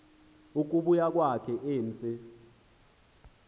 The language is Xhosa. ukubuya kwakhe emse